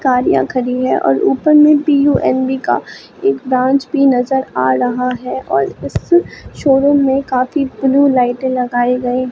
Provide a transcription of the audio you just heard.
गाड़ीयां खड़ी है और ऊपर में बी_यू_म_बी का एक ब्रांच भी नजर आ रहा है और इस शोरूम में काफी ब्लू लाइट लगाए गये--